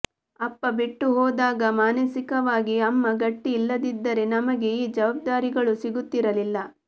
ಅಪ್ಪ ಬಿಟ್ಟುಹೋದಾಗ ಮಾನಸಿಕವಾಗಿ ಅಮ್ಮ ಗಟ್ಟಿ ಇಲ್ಲದಿದ್ದರೆ ನಮಗೆ ಈ ಜವಾಬ್ದಾರಿಗಳು ಸಿಗುತ್ತಿರಲಿಲ್ಲ